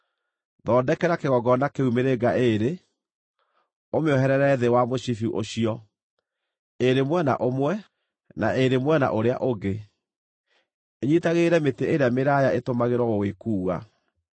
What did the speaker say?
Thondekera kĩgongona kĩu mĩrĩnga ĩĩrĩ, ũmĩoherere thĩ wa mũcibi ũcio, ĩĩrĩ mwena ũmwe, na ĩĩrĩ mwena ũrĩa ũngĩ ĩnyiitagĩrĩre mĩtĩ ĩrĩa mĩraaya ĩtũmagĩrwo gũgĩkuua.